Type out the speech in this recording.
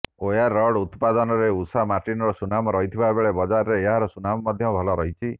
ware rod ଉତ୍ପାଦନରେ ଉଷା ମାର୍ଟିନର ସୁନାମ ରହିଥିବା ବେଳେ ବଜାରରେ ଏହାର ସୁନାମ ମଧ୍ୟ ଭଲ ରହିଛି